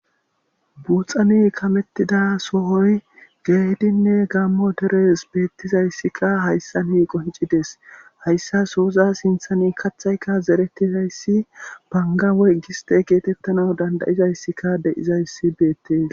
buuxane kamettida sohoy geedinne gammo deres beettizayssikka hayssa ni qoncides hayssa sooza sinthani kathayka zerettizayssi bangawey giste geetettana dandayizayssika de7izayssi beettes